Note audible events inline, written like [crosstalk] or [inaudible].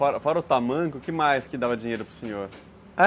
Fora fora o tamanco, o que mais que dava dinheiro para o senhor? [unintelligible]